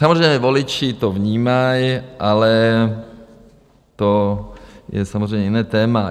Samozřejmě voliči to vnímají, ale to je samozřejmě jiné téma.